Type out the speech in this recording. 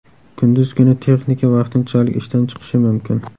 Kunduz kuni texnika vaqtinchalik ishdan chiqishi mumkin.